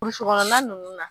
Burusi kɔnɔna nunnu na